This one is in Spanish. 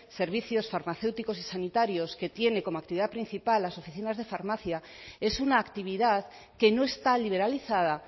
servicios farmacéuticos y sanitarios que tienen como actividad principal las oficinas de farmacia es una actividad que no está liberalizada